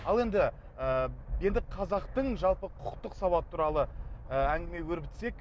ал енді ы енді қазақтың жалпы құқықтық сабақ туралы ы әңгіме өрбітсек